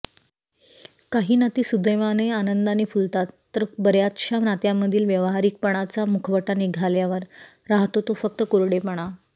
काही नाती सुदैवाने आनंदाने फुलतात तर बऱयाचशा नात्यामधील व्यावहारिकपणाचा मुखवटा निघाल्यावर राहतो तो फक्त कोरडेपणा